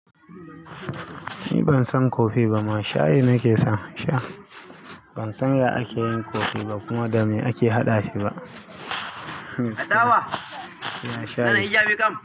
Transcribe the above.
Ni ban san kofi ba, ma shayi nake sa. Ban san yadda ake yin kofi ba kuma da me ake haɗa shi ba. Mashayi.